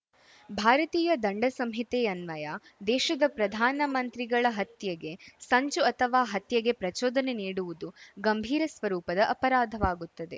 ಭಾರತೀಯ ದಂಡ ಸಂಹಿತೆ ಯನ್ವಯ ದೇಶದ ಪ್ರಧಾನ ಮಂತ್ರಿಗಳ ಹತ್ಯೆಗೆ ಸಂಚು ಅಥವಾ ಹತ್ಯೆಗೆ ಪ್ರಚೋದನೆ ನೀಡುವುದು ಗಂಭೀರ ಸ್ವರೂಪದ ಅಪರಾಧವಾಗುತ್ತದೆ